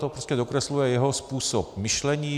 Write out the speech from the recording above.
To prostě dokresluje jeho způsob myšlení.